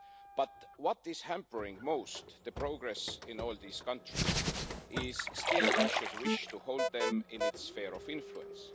But what is hampering most the progress in all these countries is still Russia's wish to hold them in its sphere of influence.